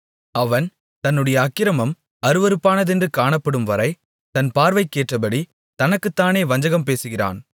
அவன் தன்னுடைய அக்கிரமம் அருவருப்பானதென்று காணப்படும்வரை தன் பார்வைக்கேற்றபடி தனக்குத்தானே வஞ்சகம் பேசுகிறான்